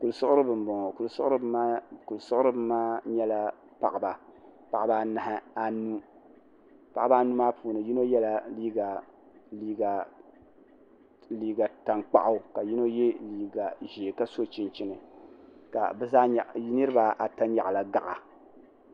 kuli siɣieiba kuli siɣieiba maa nyɛla paɣ' ba anahi anu paɣ' baanu puuni yino yɛla liga tankpagu ka yino yɛ liga ʒiɛ ka so chɛnimi ka niribaata nyɛgila gaɣi'